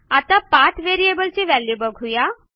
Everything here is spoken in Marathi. आता पाठ variableची व्हॅल्यू बघू या